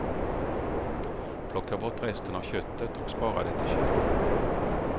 Plocka bort resten av köttet och spara det i kylen.